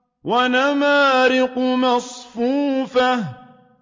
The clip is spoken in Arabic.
وَنَمَارِقُ مَصْفُوفَةٌ